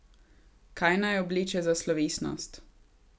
Kaj naj obleče za slovesnost?